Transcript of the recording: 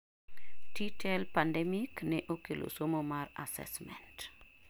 T-TEL pandemic ne okelo somo mar Assessment